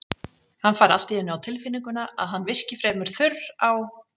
Hann fær allt í einu á tilfinninguna að hann virki fremur þurr á